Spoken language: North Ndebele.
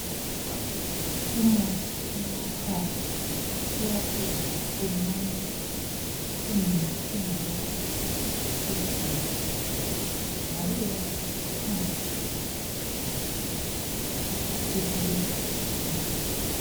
Umuthi onathwayo uyasiza kakhulu nxa ulohlupho lwesisu njalo uyasiza ukuthi kungahlali udiniwe nxa ulohlupho lwesisu uyakunceda kakhulu.